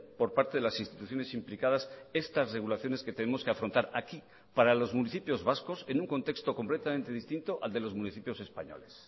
por parte de las instituciones implicadas estas regulaciones que tenemos que afrontar aquí para los municipios vascos en un contexto completamente distinto al de los municipios españoles